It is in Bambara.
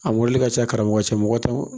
A mɔbili ka ca karamɔgɔ cɛ mɔgɔ tan